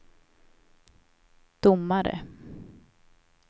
domare